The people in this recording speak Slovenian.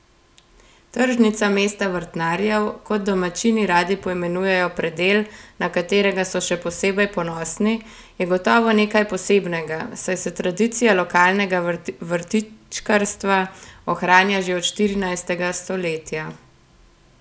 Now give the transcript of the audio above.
Tržnica mesta vrtnarjev, kot domačini radi poimenujejo predel, na katerega so še posebej ponosni, je gotovo nekaj posebnega, saj se tradicija lokalnega vrtičkarstva ohranja že od štirinajstega stoletja.